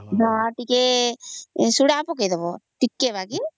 ଟିକେ ସୋଡ଼ା ପକଵା ଟିକେ ବାକି